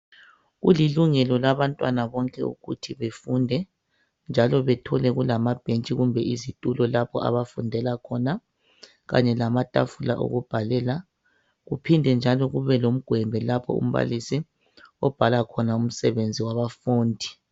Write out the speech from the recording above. Kulilungelo labantwana bonke ukuthi befunde njalo bethole kulamabhentshi kumbe izitulo lapho abafundela khona kanye lamatafula okubhalela kuphinde njalo kube lomgwembe lapho umbalisi obhala khona umsebenzi wabafundi.